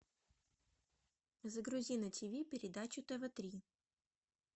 загрузи на тв передачу тв три